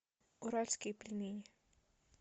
уральские пельмени